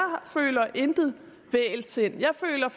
føler intet vægelsind jeg føler